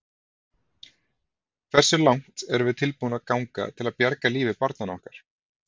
Hversu langt erum við tilbúin að ganga til að bjarga lífi barnanna okkar?